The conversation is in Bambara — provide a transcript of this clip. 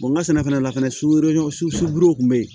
n ka sɛnɛfɛn fana surɔɲɔ subuw kun bɛ yen